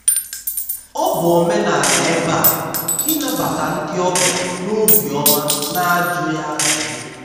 ọ bụ omenala ebe a ịnabata ndị ọbịa n'obi ọma n'ajụghị ajụjụ.